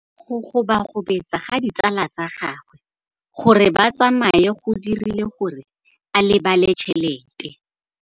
Go gobagobetsa ga ditsala tsa gagwe, gore ba tsamaye go dirile gore a lebale tšhelete.